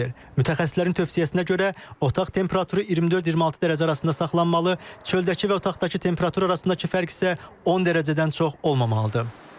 Mütəxəssislərin tövsiyəsinə görə otaq temperaturu 24-26 dərəcə arasında saxlanmalı, çöldəki və otaqdakı temperatur arasındakı fərq isə 10 dərəcədən çox olmamalıdır.